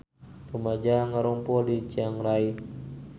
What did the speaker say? Rumaja ngarumpul di Chiang Rai